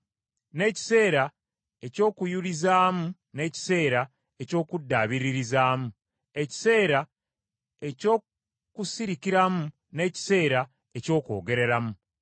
n’ekiseera eky’okuyulizaamu n’ekiseera eky’okuddabiririzaamu; ekiseera eky’okusirikiramu n’ekiseera eky’okwogereramu;